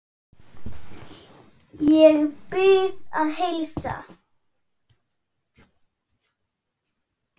Ég bið að heilsa.